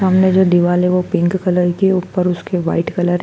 सामने जो दिवाल है वो पिंक कलर की है ऊपर उसके व्हाइट कलर --